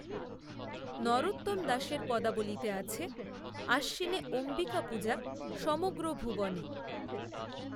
নরোত্তম দাসের পদাবলিতে আছে, আশ্বিনে, অম্বিকা, পূজা সমগ্র ভুবনে